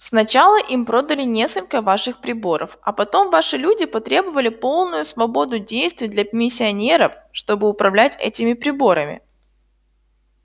сначала им продали несколько ваших приборов а потом ваши люди потребовали полную свободу действий для миссионеров чтобы управлять этими приборами